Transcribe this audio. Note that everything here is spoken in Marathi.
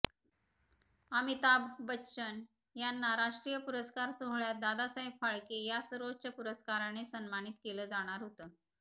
अमिताभ बच्चन यांना राष्ट्रीय पुरस्कार सोहळ्यात दादासाहेब फाळके या सर्वोच्च पुरस्काराने सन्मानित केलं जाणार होतं